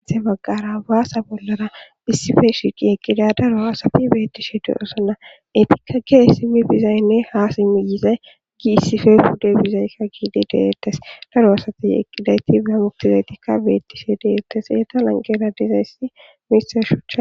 Ahe magqara baasa bollara issife shiiqi eqqida daro asati beettishe de'osona etikka geessimi bizaynne haasi miyize giissife hude bizaykka giidi deettes daro asati eqqidayti behamuktizaytikka beettishe deettes eeta lanqera dizayssi misa shucha.